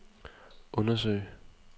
undersøge